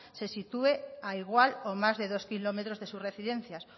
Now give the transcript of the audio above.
se sitúe a igual o más de dos kilómetros de sus residencias